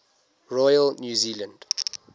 royal new zealand